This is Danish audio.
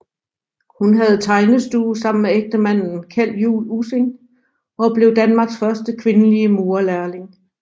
Hun havde tegnestue sammen med ægtemanden Kjeld Juul Ussing og blev Danmarks første kvindelige murerlærling